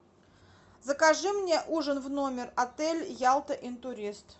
закажи мне ужин в номер отель ялта интурист